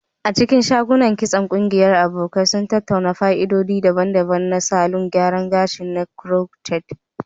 A cikin shagon kitson, ƙungiyar abokai sun tattauna fa'idodi daban-daban na salon gyara gashi na crochet.